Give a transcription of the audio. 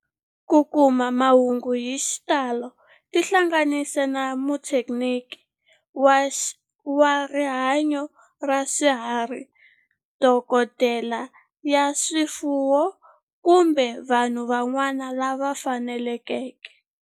Ku kuma mahungu hi xitalo tihlanganisi na muthekiniki wa rihanyo ra swifuwo, dokodela ya swifuwo, kumbe vanhu van'wana lava fanelekeke.